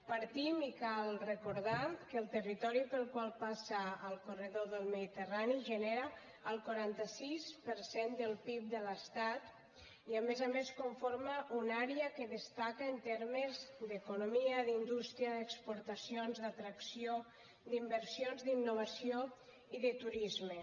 partim i cal recordar ho que el territori pel qual passa el corredor del mediterrani genera el quaranta sis per cent del pib de l’estat i a més a més conforma una àrea que destaca en termes d’economia d’indústria d’exportacions d’atracció d’inversions d’innovació i de turisme